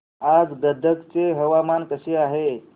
आज गदग चे हवामान कसे आहे